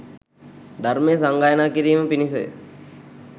ධර්මය සංගායනා කිරීම පිණිසය